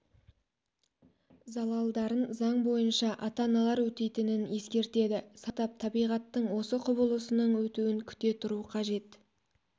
залалдарын заң бойынша ата-аналар өтейтінің ескертеді сабыр сақтап табиғаттың осы құбылысының өтуін күте түру қажет